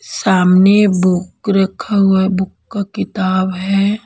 सामने बुक रखा हुआ हैं बुक का किताब है।